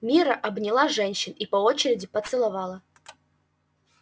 мирра обняла женщин и по очереди поцеловала